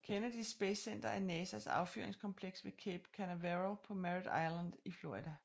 Kennedy Space Center er NASAs affyringskompleks ved Cape Canaveral på Merrit Island i Florida